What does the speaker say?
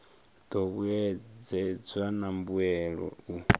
do vhuedzedzwa na mbuelo u